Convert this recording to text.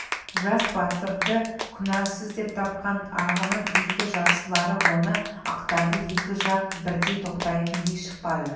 жас батырды күнәсіз деп тапқан арғынның игі жақсылары оны ақтады екі жақ бірдей тоқтайтын би шықпады